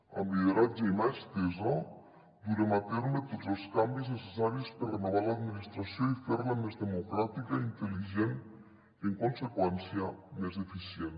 amb lideratge i mà estesa durem a terme tots els canvis necessaris per renovar l’administració i fer la més democràtica intel·ligent i en conseqüència més eficient